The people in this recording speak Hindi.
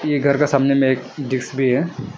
ये घर का सामने में एक डिक्स भी है।